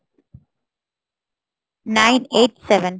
987